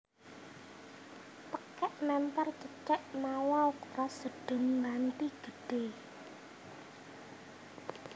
Tèkèk mempèr cecek mawa ukuran sedheng nganti gedhé